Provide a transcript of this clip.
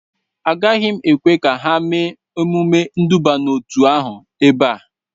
Agaghị m ekwe ka ha mee emume nduba n'otu ahụ ebe a